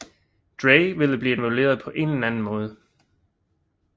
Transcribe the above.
Dre ville blive involveret på en eller anden måde